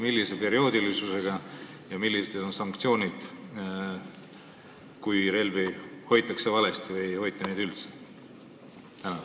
Millise perioodilisusega seda tehakse ja millised on sanktsioonid, kui relvi hoitakse valesti või ei hoita neid üldse?